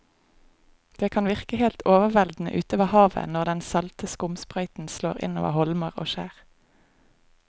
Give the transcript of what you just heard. Det kan virke helt overveldende ute ved havet når den salte skumsprøyten slår innover holmer og skjær.